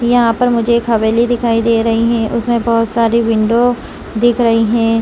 यहां पर मुझे एक हवेली दिखाई दे रही है उसमें बहुत सारी विंडो दिख रही है।